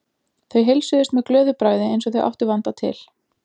Þau heilsuðust með glöðu bragði eins og þau áttu vanda til.